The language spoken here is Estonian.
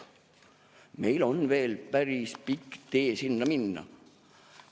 Meil on veel päris pikk tee sinna minna.